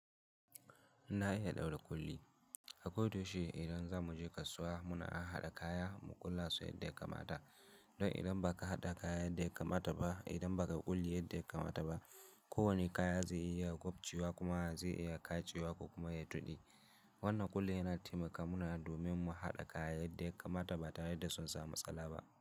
Na iya ɗaura ƙulli. A koda yaushe idan za mu je kasuwa muna haɗa kaya mu ƙulla su yadda ya kamata. Don idan ba ka haɗa kaya yadda ya kamata ba, idan ba ka ƙulli yadda ya kamata ba, kowane kaya zai iya gwabcewa kuma zai iya katse wa ku kuma ya tuɗe. Wannan kulle yana taimaka mana domin mu haɗa kaya yadda ya kamata ba tare da sun samu tsala ba.